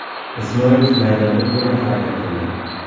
Ismoilov maydonda to‘liq harakat qildi.